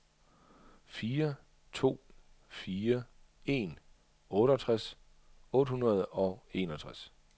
fire to fire en otteogtres otte hundrede og enogtres